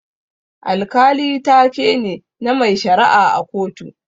Alkali taa ke ne, na mai shara'a a kotu.